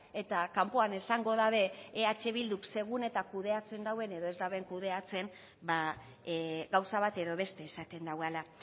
eta kanpoan esango dute eh bilduk segun eta kudeatzen duen edo ez duen kudeatzen gauza bat edo beste esaten duela